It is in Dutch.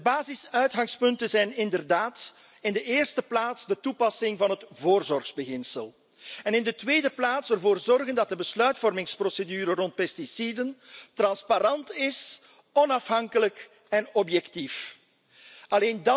De basisuitgangspunten zijn, in de eerste plaats, de toepassing van het voorzorgsbeginsel en, in de tweede plaats, ervoor zorgen dat de besluitvormingsprocedure rond pesticiden transparant, onafhankelijk en objectief is.